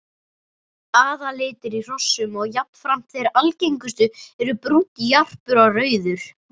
Aðallitir í hrossum og jafnframt þeir algengustu eru brúnn, jarpur og rauður.